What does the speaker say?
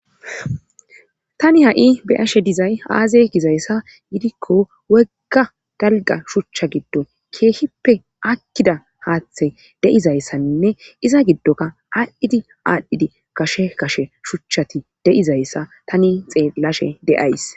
tani ha7i beashe dizay aaze gizayssa yidikko wegga galga shuchcha giddon keehippe akkida haaththe deizayssaninne iza giddoka aadhdhidi aadhdhidi kashe kashe shuchchati de7izayssa tani xeellashe de7ays